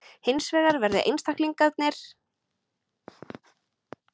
Hins vegar verði einstaklingar fatlaðir af samfélaginu.